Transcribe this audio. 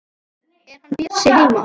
Er hann Bjössi heima?